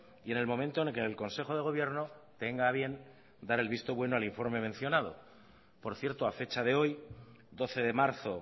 y en el momento en el que el consejo de gobierno tenga a bien dar el visto bueno al informe mencionado por cierto a fecha de hoy doce de marzo